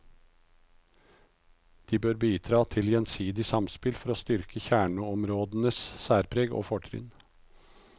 De bør bidra til gjensidig samspill for å styrke kjerneområdenes særpreg og fortrinn.